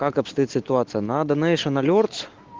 как обстоит ситуация на донейшен алёрц